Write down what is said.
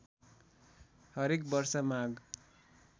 हरेक वर्ष माघ